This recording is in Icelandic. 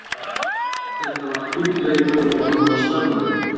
Þetta var fínn leikur og hann var spennandi.